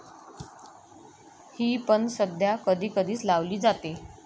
ही पण सध्या कधी कधीच लावली जाते.